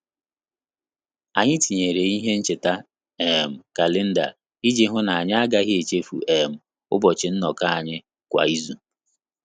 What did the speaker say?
Anyị tinyere ihe ncheta um kalenda iji hụ na-anyi agaghị echefu um ụbọchị nnoko anyị kwa izu